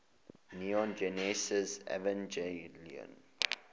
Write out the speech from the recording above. neon genesis evangelion